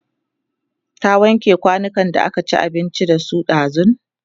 ta wanke kwanukan da aka ci abinci da su ɗazun?